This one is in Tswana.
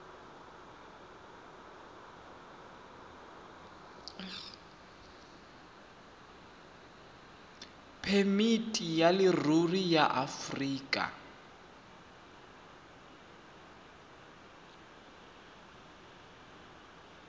phemiti ya leruri ya aforika